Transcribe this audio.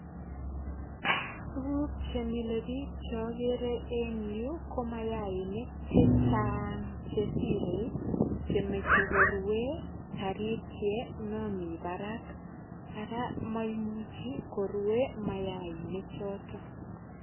Tuguk che mile biich che agere en yu ko mayainik che chang che sirei che moche korue taritiet nomi barak. Ara maimichi korue mayainik choto.